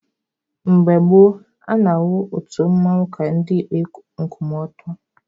Mgbe gboo, a na-ahụ otu mmanwụ ka ndị ikpe nkwụmọtọ.